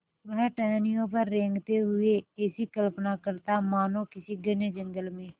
वह टहनियों पर रेंगते हुए ऐसी कल्पना करता मानो किसी घने जंगल में